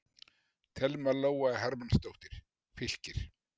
Thelma Lóa Hermannsdóttir, Fylkir